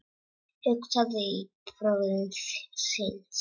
Hugsaði til bróður síns.